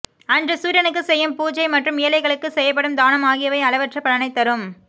அன்று சூரியனுக்குச் செய்யும் பூஜை மற்றும்ஏழைகளுக்குச் செய்யப்படும் தானம் ஆகியவை அளவற்ற பலனைத்தரும்